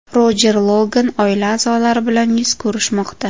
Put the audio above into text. Rojer Logan oila a’zolari bilan yuz ko‘rishmoqda.